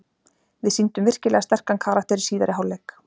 Við sýndum virkilega sterkan karakter í síðari hálfleik.